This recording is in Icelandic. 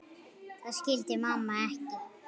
Það skildi mamma ekki.